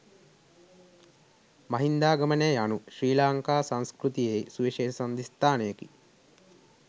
මහින්දාගමනය යනු ශ්‍රී ලංකා සංස්කෘතියෙහි සුවිශේෂ සන්ධිස්ථානයකි.